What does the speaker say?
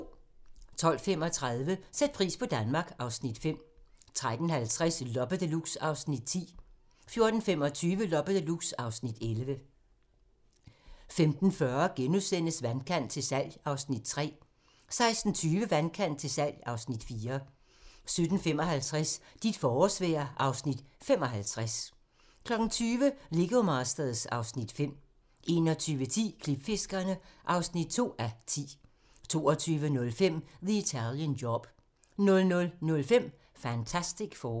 12:35: Sæt pris på Danmark (Afs. 5) 13:50: Loppe Deluxe (Afs. 10) 14:25: Loppe Deluxe (Afs. 11) 15:40: Vandkant til salg (Afs. 3)* 16:20: Vandkant til salg (Afs. 4) 17:55: Dit forårsvejr (Afs. 55) 20:00: Lego Masters (Afs. 5) 21:10: Klipfiskerne (2:10) 22:05: The Italian Job 00:05: Fantastic Four